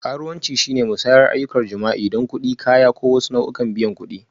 Karuwanci shine musayar ayyukan jima'i don kuɗi, kaya, ko wasu nau'ikan biyan kuɗi.